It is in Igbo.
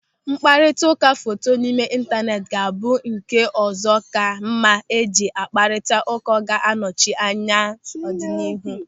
Mkparịtaụka foto n'ime intaneeti ga-abụ nke ụzọ ka mma eji akparita ụka ga-anọchi anya ya n'ọdịnihu.